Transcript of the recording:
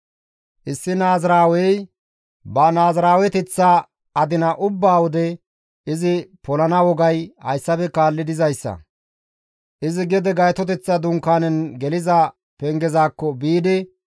« ‹Issi naaziraawey ba naaziraaweteththa adina ubba wode izi polana wogay hayssafe kaalli dizayssa; izi gede Gaytoteththa Dunkaanen geliza pengezakko biidi,